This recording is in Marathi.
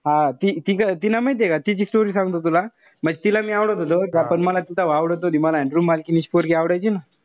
हा ती तीला माहितीय का तिची story सांगतो तुला. म्हणजे तिला मी आवडत होतो. का पण मला ती तेव्हा आवडत नव्हती. Room मालकिणीची पोरगी आवडायची ना.